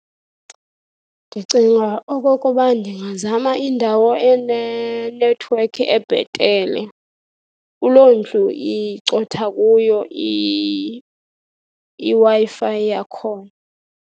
Ndicinga okokuba ndingazama indawo enenethiwekhi ebhetele kuloondlu icotha kuyo iWi-Fi yakhona.